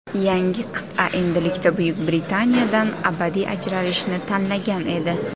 Yangi qit’a endilikda Buyuk Britaniyadan abadiy ajralishni tanlagan edi.